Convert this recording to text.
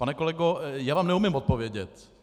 Pane kolego, já vám neumím odpovědět.